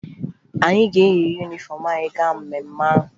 Anyị ga-eyi yunifọmụ anyị gaa mmemme ahụ